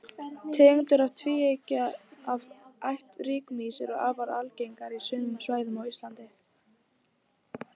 tegundir tvívængja af ætt rykmýs eru afar algengar á sumum svæðum á íslandi